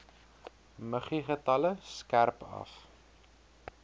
muggiegetalle skerp af